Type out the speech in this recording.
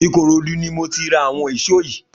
Ikorodu ni mó ti rà awọn ìṣó yi